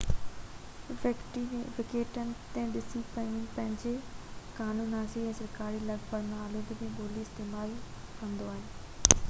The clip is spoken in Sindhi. ويٽيڪن سٽي پنهنجي قانونسازي ۽ سرڪاري لک پڙهه ۾ اطالوي ٻولي استعمال ڪندو آهي